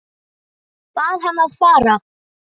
Bað hann að fara.